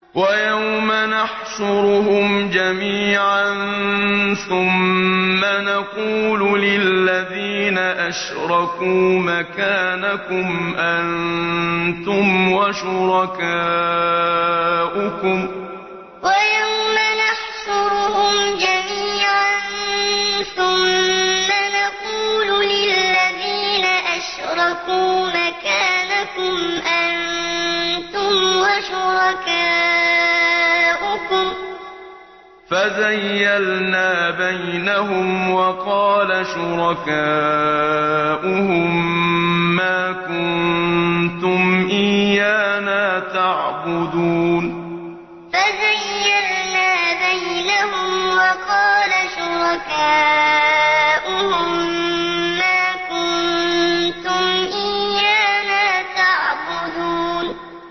وَيَوْمَ نَحْشُرُهُمْ جَمِيعًا ثُمَّ نَقُولُ لِلَّذِينَ أَشْرَكُوا مَكَانَكُمْ أَنتُمْ وَشُرَكَاؤُكُمْ ۚ فَزَيَّلْنَا بَيْنَهُمْ ۖ وَقَالَ شُرَكَاؤُهُم مَّا كُنتُمْ إِيَّانَا تَعْبُدُونَ وَيَوْمَ نَحْشُرُهُمْ جَمِيعًا ثُمَّ نَقُولُ لِلَّذِينَ أَشْرَكُوا مَكَانَكُمْ أَنتُمْ وَشُرَكَاؤُكُمْ ۚ فَزَيَّلْنَا بَيْنَهُمْ ۖ وَقَالَ شُرَكَاؤُهُم مَّا كُنتُمْ إِيَّانَا تَعْبُدُونَ